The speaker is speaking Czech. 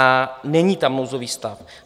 A není tam nouzový stav.